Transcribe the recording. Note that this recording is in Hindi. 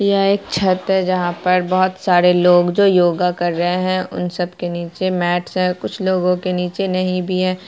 यह एक छत है जहाँ पर बहोत सारे लोग जो योगा कर रहे है उन सब के नीचे मैट्स है कुछ लोगों के नीचे नहीं भी है।